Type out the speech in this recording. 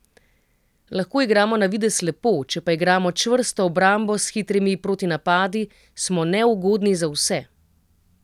Lahko igramo na videz lepo, če pa igramo čvrsto obrambo s hitrimi protinapadi, smo neugodni za vse.